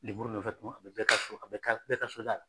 Nemuru nɔfɛ tuma bɛɛ, bɛɛ ka so a bɛ kari bɛɛ ka so da la.